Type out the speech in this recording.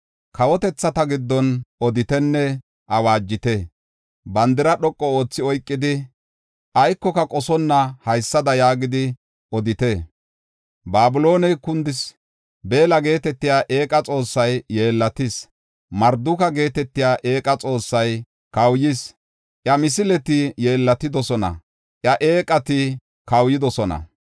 “Kawotethata giddon oditenne awaajite. Bandira dhoqu oothi oykidi, aykoka qosonna, haysada yaagidi odite. ‘Babilooney kundis! Beella geetetiya eeqay yeellatis; Marduka geetetiya eeqay kawuyis. Iya misileti yeellatidosona; iya eeqati kawuyidosona.